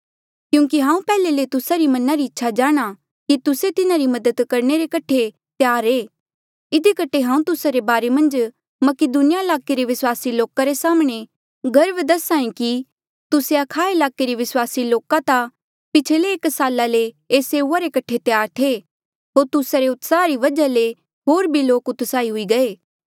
क्यूंकि हांऊँ पैहले ले तुस्सा रे मना री इच्छा जाणहां कि तुस्से तिन्हारी मदद करणे रे कठे त्यार ऐें इधी कठे हांऊँ तुस्सा रे बारे मन्झ मकीदुनिया ईलाके रे विस्वासी लोका रे साम्हणें गर्व दस्हा ऐें कि तुस्से अखाया ईलाके रे विस्वासी लोक ता पिछले एक साला ले एस सेऊआ रे कठे त्यार थे होर तुस्सा रे उत्साहा री वजहा ले होर भी लोक उत्साहित हुई गये